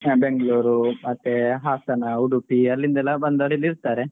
ಬೆಂಗಳೂರು ಮತ್ತೆ ಹಾಸನ, ಉಡುಪಿ ಅಲ್ಲಿಂದ ಎಲ ಬಂದವ್ರು ಇಲ್ಲಿ ಇರ್ತಾರೆ.